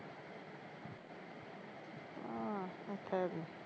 ਆਹ ਏਥੇ ਕੀ